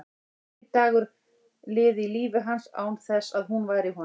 Enginn dagur liði í lífi hans án þess að hún væri í honum.